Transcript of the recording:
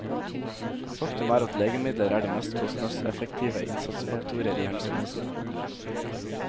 Faktum er at legemidler er de mest kostnadseffektive innsatsfaktorer i helsevesenet.